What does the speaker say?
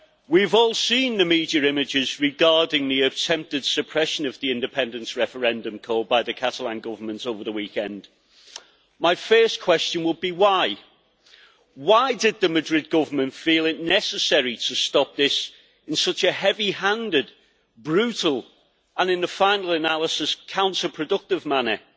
We have all seen the media images regarding the attempted suppression of the independence referendum called by the Catalan Government over the weekend. My first question would be why? Why did the Madrid Government feel it necessary to stop this in such a heavy handed, brutal and, in the final analysis, counter productive manner?